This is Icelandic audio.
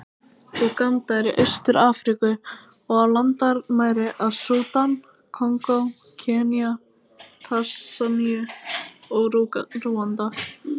Úganda er í Austur-Afríku, og á landamæri að Súdan, Kongó, Kenía, Tansaníu og Rúanda.